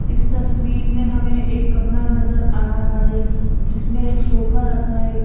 इस तस्वीर में हमें एक कमरा नजर आ रहा है जिसमें एक सोफा रखा है।